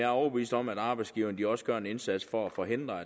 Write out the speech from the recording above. overbevist om at arbejdsgiverne også gør en indsats for at forhindre